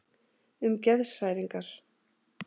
Um geðshræringar.